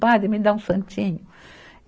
Padre, me dá um santinho.